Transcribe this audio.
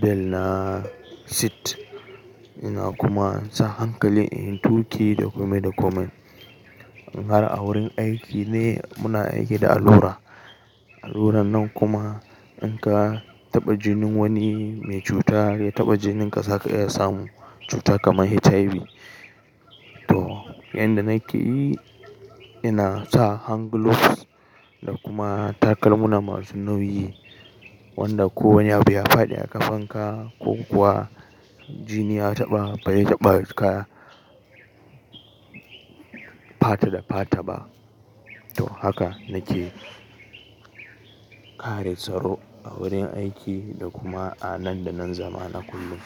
belna sit ina kuma sa hankali in tuki da komai da komai. In har a wurin aiki ne muna aiki da allura, alluran nan kuma in ka taɓa jinin wani mai cuta ya taɓa jinin ka saka iya samu cuta kamar HIV. To yanda nake yi ina sa hand gloves da kuma takalma masu nauyi wanda ko wani abu ya faɗi a ƙafanka ko kuwa jini ya taɓa bai yi taɓa ka fata da fata ba. To haka nake kare tsaro a wurin aiki da kuma a nan da nan zama na kullum.